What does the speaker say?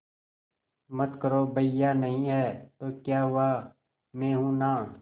मत करो भैया नहीं हैं तो क्या हुआ मैं हूं ना